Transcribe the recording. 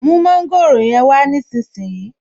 Mú mọ́ńgòrò yẹn wá nísinsìnyí